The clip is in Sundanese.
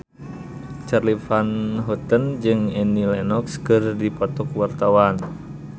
Charly Van Houten jeung Annie Lenox keur dipoto ku wartawan